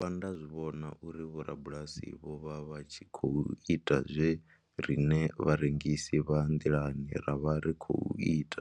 Ndo dovha nda zwi vhona uri vhorabulasi vho vha vha tshi khou ita zwe riṋe vharengisi vha nḓilani ra vha ri khou ita.